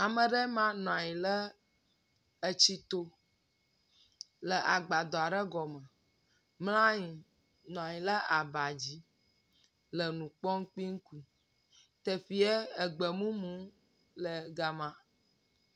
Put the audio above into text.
Ame le ma nɔ nyi ɖe etsi to le agbadɔ aɖe gɔme. Mla anyi. Nɔ anyi ɖe aba dzi le nu kpɔm kpi. Ɖevie egbe mumu le ga ma.